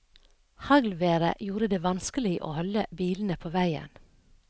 Haglværet gjorde det vanskelig å holde bilene på veien.